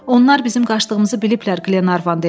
Onlar bizim qaçdığımızı biliblər, Qlenarvan dedi.